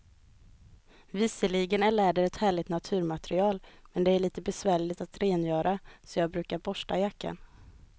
Visserligen är läder ett härligt naturmaterial, men det är lite besvärligt att rengöra, så jag brukar borsta jackan.